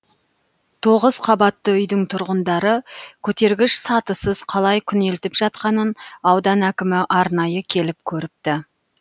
тоғыз қабатты үйдің тұрғындары көтергіш сатысыз қалай күнелтіп жатқанын аудан әкімі арнайы келіп көріпті